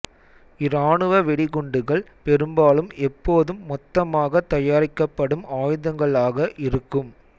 இராணுவ வெடிகுண்டுகள் பெரும்பாலும் எப்போதும் மொத்தமாக தயாரிக்கப்படும் ஆயுதங்களாக இருக்கும்